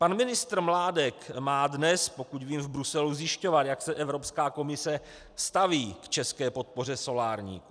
Pan ministr Mládek má dnes, pokud vím, v Bruselu zjišťovat, jak se Evropská komise staví k české podpoře solárníků.